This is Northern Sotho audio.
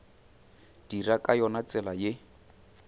dira ka yona tsela ye